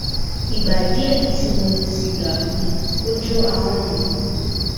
igba die ti mo mu siga um o jo ahan mi